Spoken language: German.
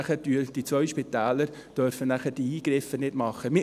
Die beiden Spitäler dürften dann diese Eingriffe nicht machen.